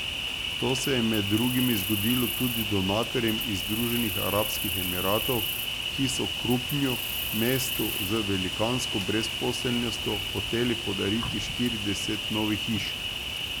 To se je, med drugimi, zgodilo tudi donatorjem iz Združenih arabskih emiratov, ki so Krupnju, mestu z velikansko brezposelnostjo, hoteli podariti štirideset novih hiš.